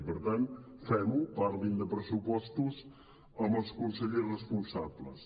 i per tant fem ho parlin de pressupostos amb els consellers responsables